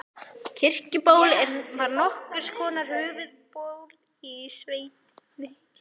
Kirkjuból var nokkurs konar höfuðból í sveitinni.